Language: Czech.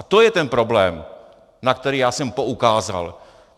A to je ten problém, na který já jsem poukázal.